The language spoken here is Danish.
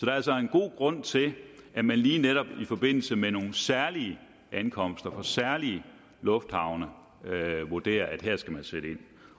er altså en god grund til at man lige netop i forbindelse med nogle særlige ankomster fra særlige lufthavne vurderer at her skal man sætte ind